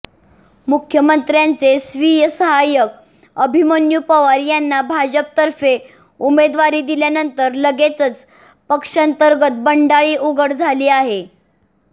मुख्यमंत्र्यांचे स्वीय सहायक अभिमन्यू पवार यांना भाजपतर्फे उमेदवारी दिल्यानंतर लगेचच पक्षांतर्गत बंडाळी उघड झाली आहे